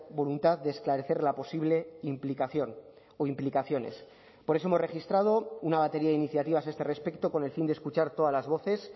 voluntad de esclarecer la posible implicación o implicaciones por eso hemos registrado una batería de iniciativas a este respecto con el fin de escuchar todas las voces